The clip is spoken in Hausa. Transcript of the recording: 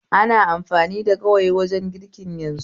Ana amfani da gawayi dwajen girki yanzu